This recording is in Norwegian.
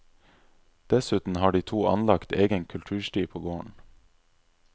Dessuten har de to anlagt egen kultursti på gården.